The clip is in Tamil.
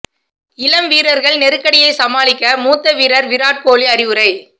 இளம் வீரர்கள் நெருக்கடியை சமாளிக்க மூத்த வீரர் விராட் கோக்லி அறிவுரை